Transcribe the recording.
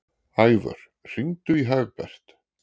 Ævör, hringdu í Hagbert.